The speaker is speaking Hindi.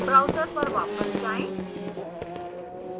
browser पर वापस जाएँ